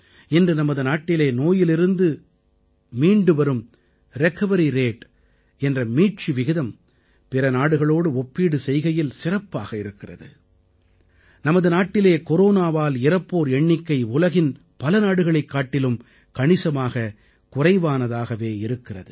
இன்று நமது நாட்டிலே நோயிலிருந்து மீண்டு வரும் ரிகவரி ரேட் என்ற மீட்சி விகிதம் பிற நாடுகளோடு ஒப்பீடு செய்கையில் சிறப்பாக இருக்கிறது நமது நாட்டில் கொரோனாவால் இறப்போர் எண்ணிக்கை உலகத்தின் பல நாடுகளைக் காட்டிலும் கணிசமாகக் குறைவானதாகவே இருக்கிறது